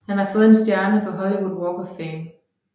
Han har fået en stjerne på Hollywood Walk of Fame